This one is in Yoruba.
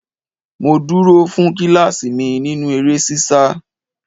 Mo dúró fún kíláàsì mi nínú eré ṣíṣá.